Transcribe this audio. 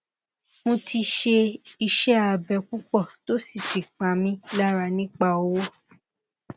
mo ti ṣe iṣẹ abẹ pupọ to si ti pa mi lara nipa owo